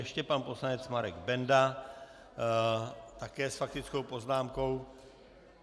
Ještě pan poslanec Marek Benda také s faktickou poznámkou.